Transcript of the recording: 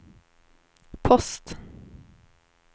post